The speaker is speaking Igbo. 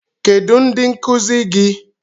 Kedụ ndị nkuzi gị?